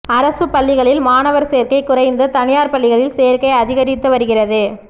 அரசுப் பள்ளிகளில் மாணவர் சேர்க்கை குறைந்து தனியார் பள்ளிகளில் சேர்க்கை அதிகரித்து வருகிறது